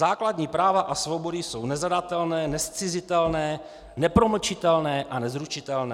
Základní práva a svobody jsou nezadatelné, nezcizitelné, nepromlčitelné a nezrušitelné.